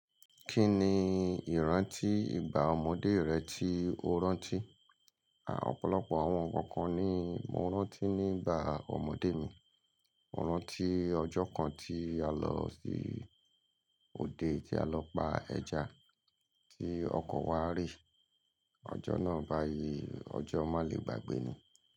Kí ni ìrántí ìgbà ọmọdé rẹ tí o rántí? Opọ̀lọpọ̀ àwọn nnkan kan ni mo rántí ní ìgbà ọmọdé mi. Mo rántí ọjọ́ kan tí a lọ sí òde tí a lọ pa ẹja tí ọkọ̀ wa ri. Ọjọ́ náà báyii ọjọ́ má lè gbàgbé ni.